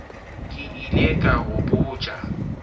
ke ile ka go botša